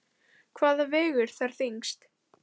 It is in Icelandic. Hvað vegur þar þyngst?